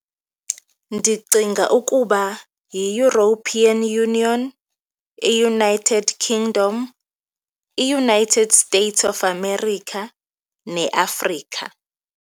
Ndicinga ukuba yiEuropean Union, iUnited Kingdom, iUnited States of America, neAfrika.